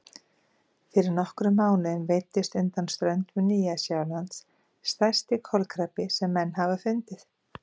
Fyrir nokkrum mánuðum veiddist undan ströndum Nýja-Sjálands stærsti kolkrabbi sem menn hafa fundið.